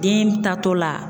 Den taatɔ la.